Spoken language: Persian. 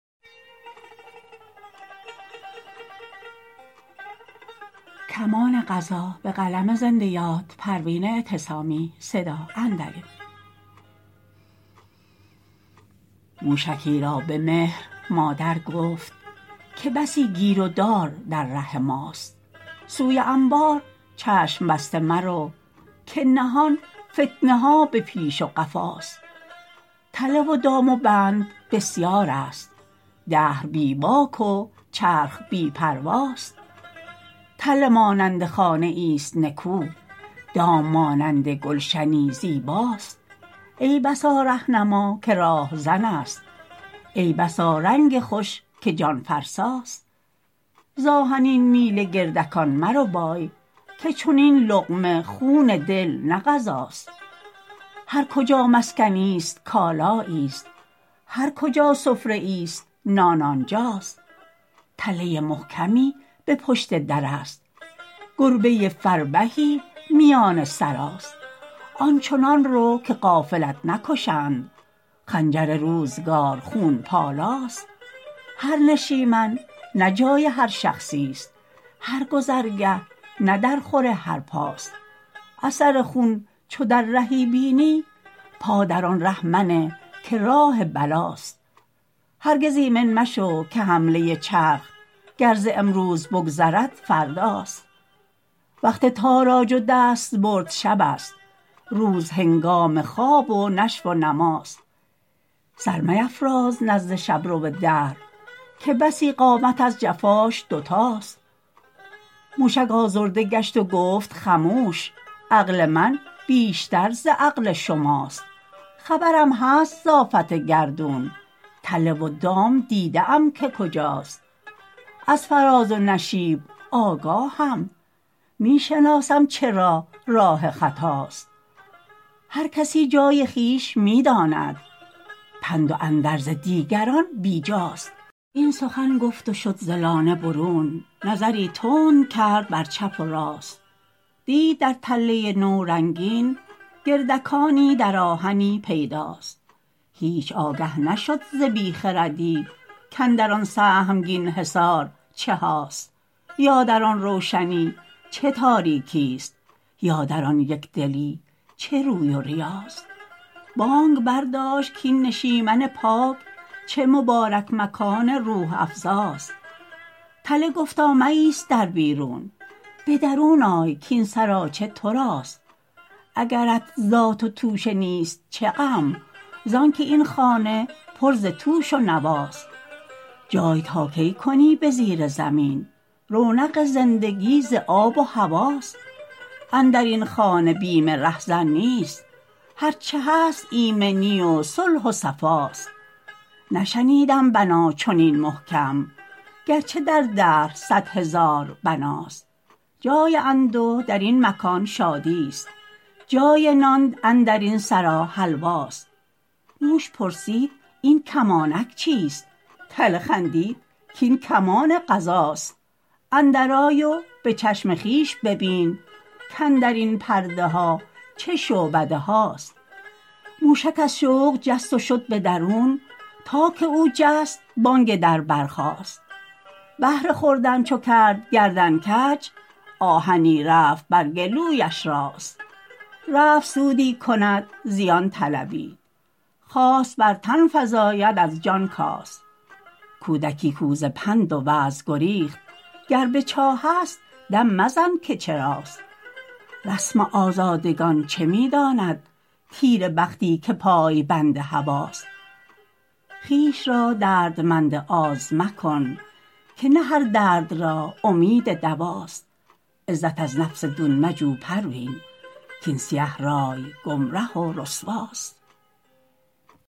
موشکی را به مهر مادر گفت که بسی گیر و دار در ره ماست سوی انبار چشم بسته مرو که نهان فتنه ها به پیش و قفاست تله و دام و بند بسیار است دهر بی باک و چرخ بی پرواست تله مانند خانه ایست نکو دام مانند گلشنی زیباست ای بسا رهنما که راهزن است ای بسا رنگ خوش که جانفرساست ز آهنین میله گردکان مربای که چنین لقمه خون دل نه غذاست هر کجا مسکنی است کالایی است هر کجا سفره ایست نان آنجاست تله محکمی به پشت در است گربه فربهی است میان سراست آنچنان رو که غافلت نکشند خنجر روزگار خون پالاست هر نشیمن نه جای هر شخصی است هر گذرگه نه در خور هر پاست اثر خون چو در رهی بینی پا در آن ره منه که راه بلاست هرگز ایمن مشو که حمله چرخ گر ز امروز بگذرد فرداست وقت تاراج و دستبرد شب است روز هنگام خواب و نشو و نماست سر میفراز نزد شبرو دهر که بسی قامت از جفاش دوتاست موشک آزرده گشت و گفت خموش عقل من بیشتر ز عقل شماست خبرم هست ز آفت گردون تله و دام دیده ام که کجاست از فراز و نشیب آگاهم میشناسم چه راه راه خطاست هر کسی جای خویش میداند پند و اندرز دیگران بی جاست این سخن گفت و شد ز لانه برون نظری تند کرد بر چپ و راست دید در تله نو رنگین گردکانی در آهنی پیداست هیچ آگه نشد ز بی خردی کاندران سهمگین حصار چهاست یا در آن روشنی چه تاریکی است یا در آن یکدلی چه روی و ریاست بانگ برداشت کاین نشیمن پاک چه مبارک مکان روح افزاست تله گفتا مایست در بیرون بدرون آی کاین سراچه تراست اگرت زاد و توشه نیست چه غم زانکه این خانه پر ز توش و نواست جای تا کی کنی به زیر زمین رونق زندگی ز آب و هواست اندرین خانه بین رهزن نیست هر چه هست ایمنی و صلح و صفاست نشنیدم بنا چنین محکم گرچه در دهر صد هزار بناست جای انده درین مکان شادیست جای نان اندرین سرا حلواست موش پرسید این کمانک چیست تله خندید کاین کمان قضاست اندر آی و بچشم خویش ببین کاندرین پرده ها چه شعبده هاست موشک از شوق جست و شد بدرون تا که او جست بانگ در بر خاست بهر خوردن چو کرد گردن کج آهنی رفت بر گلویش راست رفت سودی کند زیان طلبید خواست بر تن فزاید از جان کاست کودکی کاو ز پند و وعظ گریخت گر به چاه است دم مزن که چراست رسم آزادگان چه می داند تیره بختی که پای بند هوی ست خویش را دردمند آز مکن که نه هر درد را امید دواست عزت از نفس دون مجو پروین کاین سیه رای گمره و رسواست